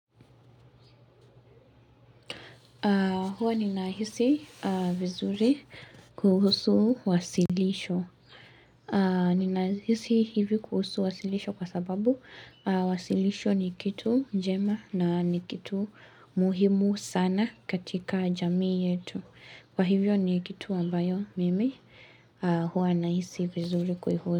Hua ni nahisi vizuri kuhusu wasilisho. Ninahisi hivi kuhusu wasilisho kwa sababu wasilisho ni kitu njema na ni kitu muhimu sana katika jamii yetu. Kwa hivyo ni kitu ambayo mimi hua na hisi vizuri kuihu.